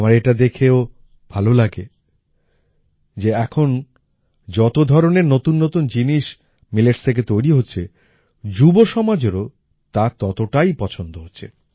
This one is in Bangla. আমার এটা দেখেও ভালো লাগে যে এখন যত ধরনের নতুন নতুন জিনিস মিলেটস থেকে তৈরি হচ্ছে যুব সমাজেরও তা ততটাই পছন্দ হচ্ছে